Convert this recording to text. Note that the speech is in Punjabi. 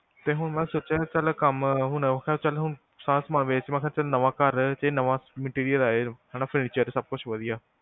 ਤੇ ਹੁਣ ਅਸੀਂ ਸੋਚਿਆ ਚੱਲ ਕੰਮ ਹੁਣ ਚੱਲ ਹੁਣ ਸਾਰਾ ਸਾਮਾਨ ਵੇਚ ਮਖਾ ਚੱਲ ਨਵਾਂ ਘਰ ਚ ਨਵਾਂ material ਆਏ ਹਨਾ furniture ਸਬ ਕੁਝ ਵਧਿਆ